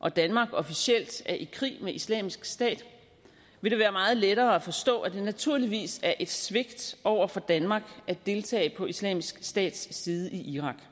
og danmark officielt er i krig med islamisk stat vil det være meget lettere at forstå at det naturligvis er et svigt over for danmark at deltage på islamisk stats side i irak